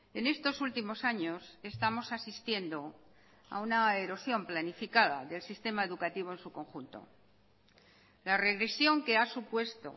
en estos últimos años estamos asistiendo a una erosión planificada del sistema educativo en su conjunto la regresión que ha supuesto